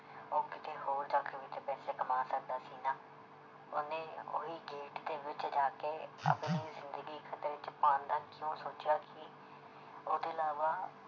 ਉਹ ਕਿਤੇ ਹੋਰ ਜਾਕਰ ਵੀ ਤੇ ਪੈਸੇ ਕਮਾ ਸਕਦਾ ਸੀ ਨਾ ਉਹਨੇ ਉਹੀ gate ਦੇ ਵਿੱਚ ਜਾ ਕੇ ਆਪਣੀ ਜ਼ਿੰਦਗੀ ਖ਼ਤਰੇ ਵਿੱਚ ਪਾਉਣ ਦਾ ਕਿਉਂ ਸੋਚਿਆ ਕੀ ਉਹਦੇ ਇਲਾਵਾ